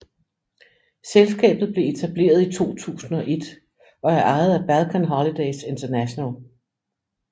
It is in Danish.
Selskabet blevet etableret i 2001 og er ejet af Balkan Holidays International